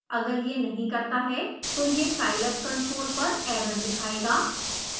अगर यह नहीं करता तो यह scilab console पर एरर दिखाएगा